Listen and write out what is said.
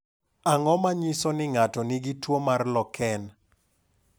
Ang’o ma nyiso ni ng’ato nigi tuwo mar Loken?